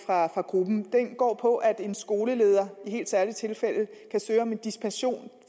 fra gruppen og den går på at en skoleleder i helt særlige tilfælde kan søge om en dispensation